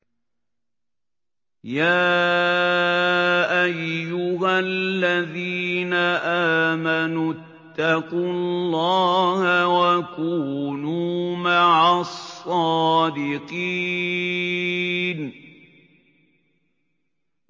يَا أَيُّهَا الَّذِينَ آمَنُوا اتَّقُوا اللَّهَ وَكُونُوا مَعَ الصَّادِقِينَ